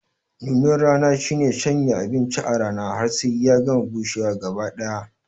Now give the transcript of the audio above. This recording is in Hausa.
Nunar rana shine shanya abinci a rana har sai ya gama bushewa gaba ɗaya